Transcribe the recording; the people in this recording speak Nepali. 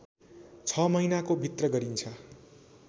६ महिनाको भित्र गरिन्छ